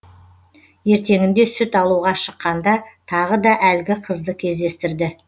ертеңінде сүт алуға шыққанда тағы да әлгі қызды кездестірді